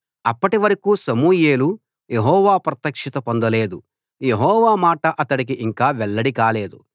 అప్పటివరకూ సమూయేలు యెహోవా ప్రత్యక్షత పొందలేదు యెహోవా మాట అతడికి ఇంకా వెల్లడి కాలేదు